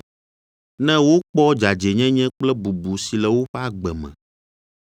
ne wokpɔ dzadzɛnyenye kple bubu si le woƒe agbe me.